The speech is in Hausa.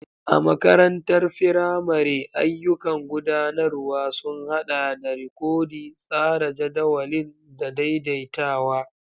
A makarantar firamare, ayyukan gudanarwa sun haɗa da rikodi, tsara jadawalin, da daidaitawa.